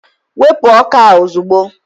wepụ ọka a ozugbo!